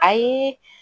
Ayi